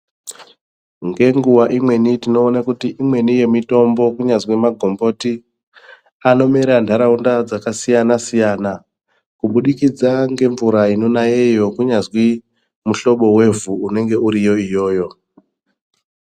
Ngenguwa imweni tinoone kuti imweni yemitombo kunyazwi magomboti anomera nharaunda dzakasiyana siyana kubudikidza ngemvura inonayeyo kunyazwi muhlobo wevhu unenge uriyo iyoyo.